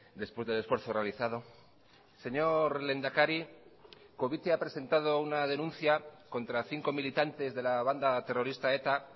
después del esfuerzo realizado señor lehendakari covite ha presentado una denuncia contra cinco militantes de la banda terrorista eta